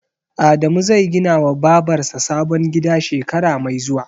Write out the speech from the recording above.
Adamu zai ginawa Babar sa sabon gida shekara mai zuwa.